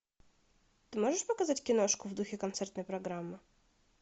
ты можешь показать киношку в духе концертной программы